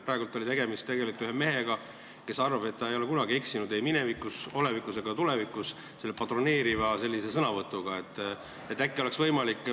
Praegu oli tegemist patroneeriva sõnavõtuga ühelt mehelt, kes arvab, et ta ei ole minevikus kunagi eksinud ega eksi ka olevikus ega tulevikus.